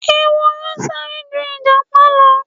Ehoro sáré ju Ìjàpá lọ.